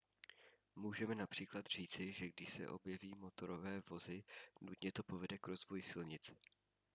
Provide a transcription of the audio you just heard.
můžeme například říci že když se objeví motorové vozy nutně to povede k rozvoji silnic